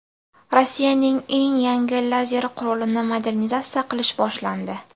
Rossiyaning eng yangi lazer qurolini modernizatsiya qilish boshlandi.